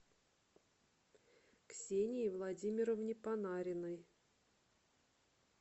ксении владимировне панариной